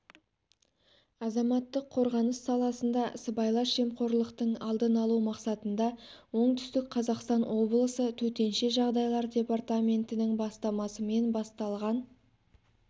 азаматтық қорғаныс саласында сыбайлас жемқорлықтың алдын алу мақсатында оңтүстік қазақстан облысы төтенше жағдайлар департаментінің бастамасымен басталған